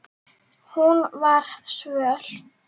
Hún var svöl.